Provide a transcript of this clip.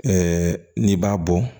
n'i b'a bɔ